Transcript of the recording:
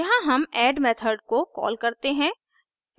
यहाँ हम add method को कॉल करते हैं